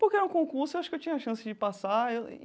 Porque era um concurso, eu acho que eu tinha a chance de passar.